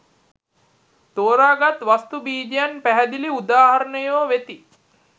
තෝරාගත් වස්තු බීජයන් පැහැදිලි උදාහරණයෝ වෙති.